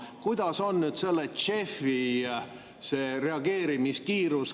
Kuidas on selle JEF‑i reageerimiskiirus?